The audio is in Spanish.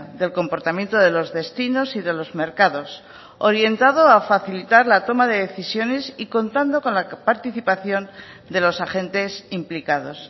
del comportamiento de los destinos y de los mercados orientado a facilitar la toma de decisiones y contando con la participación de los agentes implicados